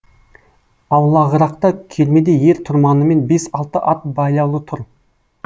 аулағырақта кермеде ер тұрманымен бес алты ат байлаулы тұр